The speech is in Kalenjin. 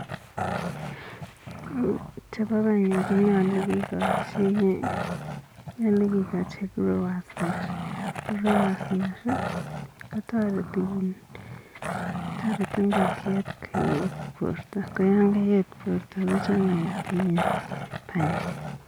Chebo panyek konyolu kigochi nyolu kigochi growers mash. Growers mash kotareti ingokiet koyet borto koyan kayet borto kochang'itu banyek.